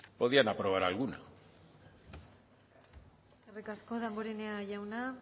podían aprobar alguna eskerrik asko damborenea jauna